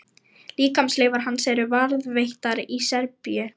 Líkamsleifar hans eru varðveittar í Serbíu.